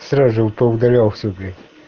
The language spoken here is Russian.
сразу же поудалял все блять